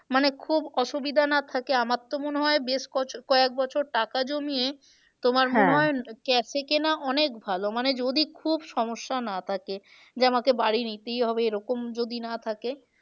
মানে খুব অসুবিধা না থাকে আমার তো মনে হয় বেশ কয়েক বছর টাকা জমিয়ে তোমার cash এ কেনা অনেক ভালো মানে যদি খুব সমস্যা না থাকে। যে আমাকে বাড়ি নিতেই হবে এরকম যদি না থাকে